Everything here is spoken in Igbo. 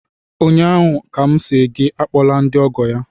ụnyaahụ ka m sị gị akpọla ndị ọgọ ya!